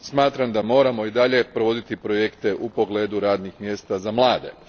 Smatram da moramo i dalje provoditi projekte u pogledu radnih mjesta za mlade.